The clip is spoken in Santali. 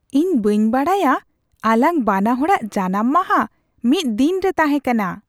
ᱤᱧ ᱵᱟᱹᱧ ᱵᱟᱰᱟᱭᱟ ᱟᱞᱟᱝ ᱵᱟᱱᱟᱼᱦᱚᱲᱟᱜ ᱡᱟᱱᱟᱢ ᱢᱟᱦᱟ ᱢᱤᱫ ᱫᱤᱱᱨᱮ ᱛᱟᱦᱮᱸ ᱠᱟᱱᱟ !